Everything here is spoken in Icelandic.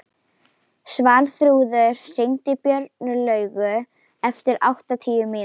Svanþrúður, hringdu í Björnlaugu eftir áttatíu mínútur.